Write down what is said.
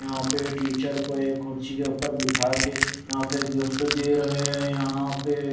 यहां पे टीचर को एक कुर्सी के उपर बिठाके यहां पे गिफ्ट दे रहे हैं यहां पे--